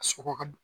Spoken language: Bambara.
A sogo ka